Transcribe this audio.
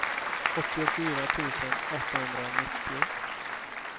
åttiofyra tusen åttahundranittio